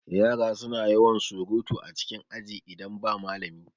Yara suna da yawan surutu a cikin aji idan ba malami